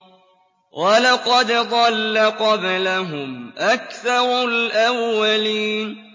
وَلَقَدْ ضَلَّ قَبْلَهُمْ أَكْثَرُ الْأَوَّلِينَ